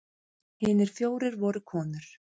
Hinir fjórir voru konur.